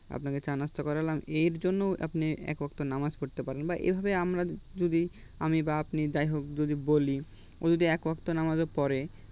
আপনাকে চা-নাস্তা করলাম এরজন্য আপনি এক ওয়াক্ত নামাজ পড়তে পারেন বা এভাবে আমরা যদি আমি বা আপনি যাই হোক যদি বলি ও যদি একওয়াক্ত নামাজও পড়ে